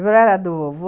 do vovô